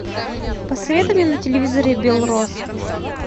посоветуй мне на телевизоре белрос